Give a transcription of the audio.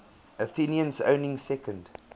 athenians owning second